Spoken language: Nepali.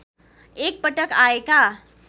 एक पटक आएका